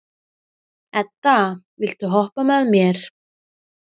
Edda, viltu hoppa með mér?